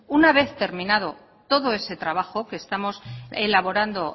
una vez terminado todo ese trabajo que estamos elaborando